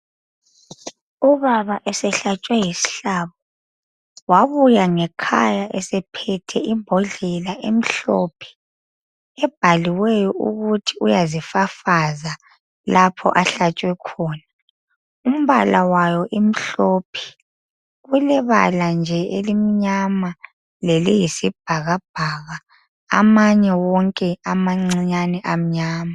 Ubaba esehlatshwe yisihlabo wabuya ngekhaya esephethe imbodlela emhlophe wabuya ngekhaya ebhaliweyo ukuthi uyazifafaza lapha ahlantshwe khona umpala wayo imhlophe ulebala nje elimnyama leyisibhakabhaka amanye wonkeamancinyane amnyama.